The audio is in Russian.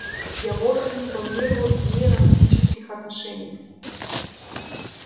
я вовсе не планировал с ней романтических отношений